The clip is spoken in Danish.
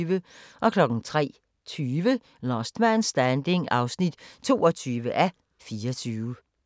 03:20: Last Man Standing (22:24)